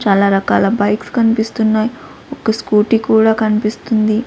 చాలా రకాల బైక్స్ కన్పిస్తున్నాయ్ ఒక స్కూటీ కూడా కన్పిస్తుంది.